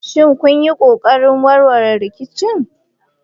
Shin kun yi ƙoƙarin warware rikicin?